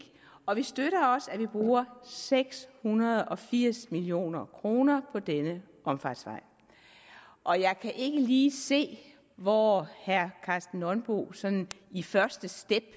og vi støtter også at vi bruger seks hundrede og firs million kroner på denne omfartsvej og jeg kan ikke lige se hvor herre karsten nonbo sådan i første step